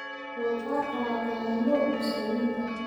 Doofaarka waa ka mamnuuc Muslimiinta